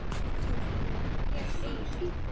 Töfin verður því rúmt ár.